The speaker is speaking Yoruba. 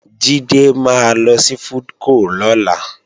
Jídé máa lọ sí FoodCo lọ́la